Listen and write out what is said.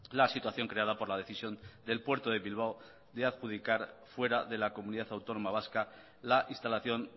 la situación creada por la decisión del puerto de bilbao de adjudicar fuera de la comunidad autónoma vasca la instalación